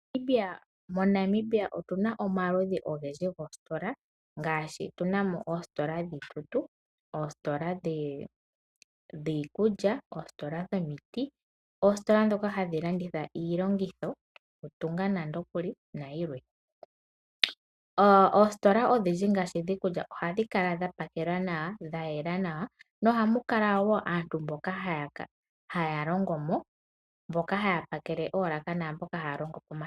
MoNamibia otu na omaludhi ogendji goositola ngaashi tunamo oositola dhiikutu, dhiikutya, dhomiti, dhokulanditha iilongitho yokutunga nande okuli nayilwe. Oositola odhindji ngaashi dhiikulya ohadhi kala dhapakelwa nodhayela nawa. Ohamu kala aantu mboka haya longo mo mboka haya pakele moolaka naamboka haya longo pomashina.